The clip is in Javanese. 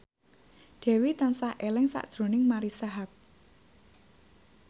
Dewi tansah eling sakjroning Marisa Haque